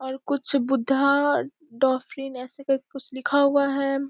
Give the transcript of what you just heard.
और कुछ बुद्धा टाफीन ऐसे करके कुछ लिखा हुआ है।